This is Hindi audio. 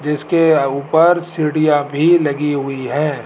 जिसके ऊपर सीड़िया भी लगी हुई है।